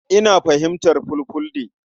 Ina fahimtar Fulfulde.